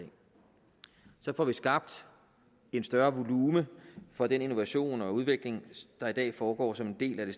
så får vi skabt en større volumen for den innovation og udvikling der i dag foregår som en del af det